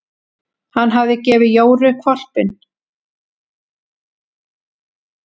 Hann hafði gefið Jóru hvolpinn.